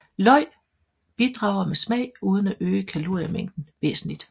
Løg bidrager med smag uden at øge kaloriemængden væsentligt